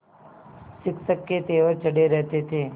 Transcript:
शिक्षक के तेवर चढ़े रहते थे